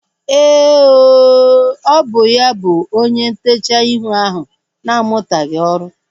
Éè ooo, ọ bụ ya bụ onye ntechaa ihu ahu na-amutaghi ọrụ